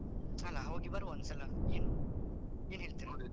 ಅಲಾ ಹೋಗಿ ಬರ್ವ ಒಂದ್ಸಲ ಏನು ಏನ್ ಹೇಳ್ತೀರಾ?